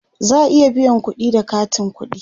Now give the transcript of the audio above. za'a iya biyan kudi da katin ƙuɗi